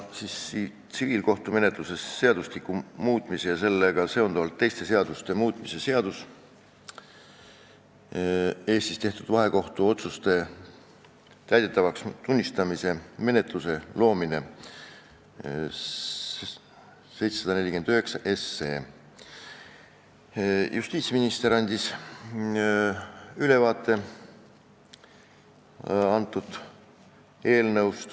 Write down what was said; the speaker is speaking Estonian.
Tsiviilkohtumenetluse seadustiku muutmise ja sellega seonduvalt teiste seaduste muutmise seaduse eelnõust andis ülevaate justiitsminister.